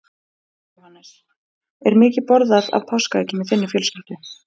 Jóhannes: Er mikið borðað af páskaeggjum í þinni fjölskyldu?